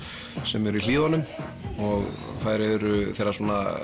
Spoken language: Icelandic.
sem eru í Hlíðunum þær eru þeirra